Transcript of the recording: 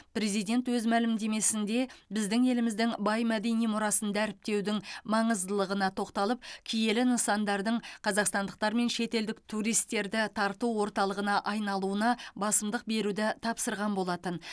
президент өз мәлімдемесінде біздің еліміздің бай мәдени мұрасын дәріптеудің маңыздылығына тоқталып киелі нысандардың қазақстандықтар мен шетелдік туристерді тарту орталығына айналуына басымдық беруді тапсырған болатын